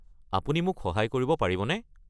আপুনি মোক সহায় কৰিব পাৰিবনে?